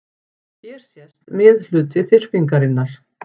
Hér sést miðhluti þyrpingarinnar.